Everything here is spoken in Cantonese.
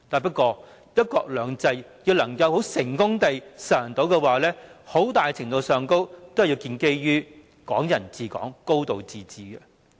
不過，若要成功實行"一國兩制"，很大程度要建基於"港人治港"、"高度自治"。